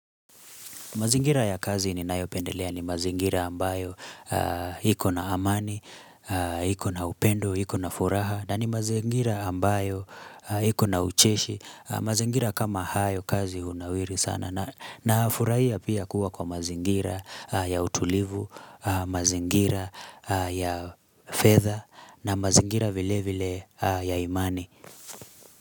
Mazingira ya kazi ni nayopendelea ni mazingira ambayo ikona amani, ikona upendo, ikona furaha, na ni mazingira ambayo ikona ucheshi, mazingira kama hayo kazi hunawiri sana. Nafurahia pia kuwa kwa mazingira ya utulivu, mazingira ya fedha na mazingira vile vile ya imani.